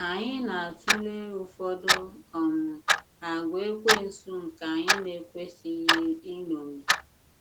Anyị na atụle ụfọdụ um àgwà Ekwensu nke anyị na-ekwesịghị iṅomi.